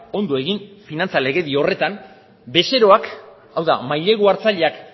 ondo egin finantza legedi horretan bezeroak hau da mailegu hartzaileak